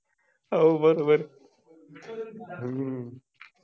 हाओ बरोबर हम्म